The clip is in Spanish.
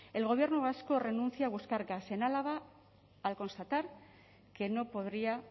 el gobierno vasco renuncia a buscar gas en álava al constatar que no podría